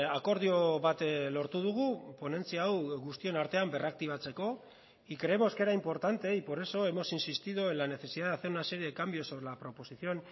akordio bat lortu dugu ponentzia hau guztion artean berraktibatzeko y creemos que era importante y por eso hemos insistido en la necesidad de hacer una serie de cambios sobre la proposición